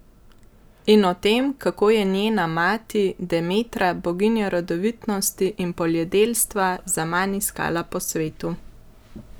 In o tem, kako jo je njena mati Demetra, boginja rodovitnosti in poljedelstva, zaman iskala po svetu?